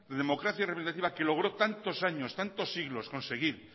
democracia representativa que logró tantos años tantos siglos conseguir